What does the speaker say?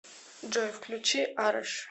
джой включи араш